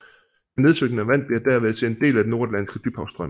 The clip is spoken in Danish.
Det nedsynkende vand bliver derved til en del af Den Nordatlantiske Dybhavsstrøm